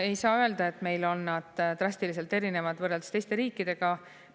Ei saa öelda, et meil on nad drastiliselt erinevad võrreldes teiste riikidega.